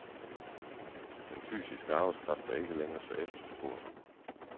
Den fysiske arbejdskraft er ikke længere så efterspurgt.